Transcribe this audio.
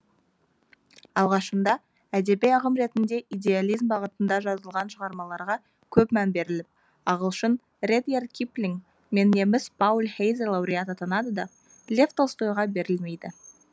алғашында әдеби ағым ретінде идеализм бағытында жазылған шығармаларға көп мән беріліп ағылшын редъярд киплинг пен неміс пауль хейзе лауреат атанады да лев толстойға берілмейді